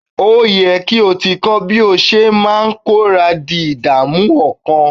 Ó ye kí o ti kọ́ bí o ṣe máa kọra di ìdààmú ọkàn.